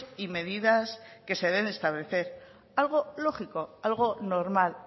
y medidas que se deben establecer algo lógico algo normal